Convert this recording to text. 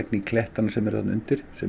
í klettana sem eru þarna undir sem